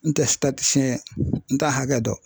N tɛ n t'a hakɛ dɔn